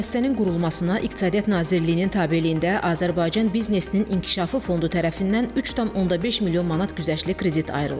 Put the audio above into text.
Müəssisənin qurulmasına İqtisadiyyat Nazirliyinin tabeliyində Azərbaycan Biznesinin İnkişafı Fondu tərəfindən 3,5 milyon manat güzəştli kredit ayrılıb.